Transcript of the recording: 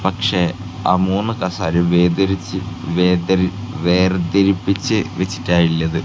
പക്ഷേ ആ മൂന്ന് കസേരയും വേതിരിച്ച് വേതിരി വേർതിരിപ്പിച്ചു വെച്ചിട്ടാണ് ഇള്ളത്.